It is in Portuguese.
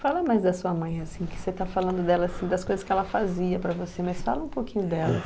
Fala mais da sua mãe, assim, que você tá falando dela, assim, das coisas que ela fazia para você, mas fala um pouquinho dela, assim.